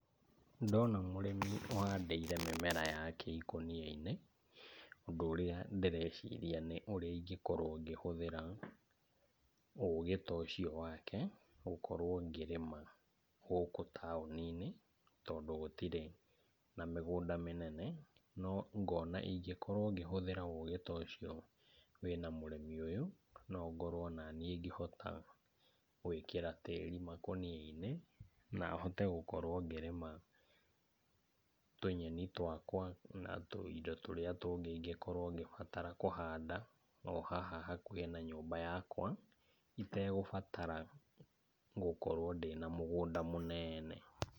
Ndĩrona mũrĩmi ũhandiĩre mĩmera yake ĩkũnia-inĩ ,ũndũ ũrĩa ndĩreciria nĩ ũrĩa ingĩkorwo ngĩhũthĩra ũgĩ ta ũcio wake gukorwo ngĩrĩma gũkũ taũni-inĩ, tondũ gũtirĩ na mũgũnda mĩnene. No ngona ingĩkorwo ngĩhũthĩra ũgĩ ta ũcio wi na mũrĩmi ũyũ, no ngorwo naniĩ ngĩhota gwĩkĩra tirĩ makũnia-inĩ na hote gũkorwo ngĩrĩma tũnyeni twakwa, na tũindo tũrĩa tũngĩ ĩngĩkorwo ngĩbatara kũhanda, o haha hakuhĩ na nyũmba yakwa, itagũbatara gũkorwo ndĩ na mũgũnda mũnene.